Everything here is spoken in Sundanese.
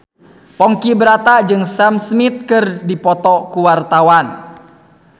Ponky Brata jeung Sam Smith keur dipoto ku wartawan